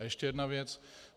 A ještě jedna věc.